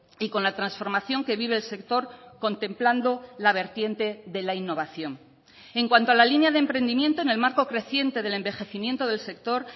y con la transformación que vive el sector contemplando la vertiente de la innovación en cuanto a la línea de emprendimiento en el marco creciente del envejecimiento del sector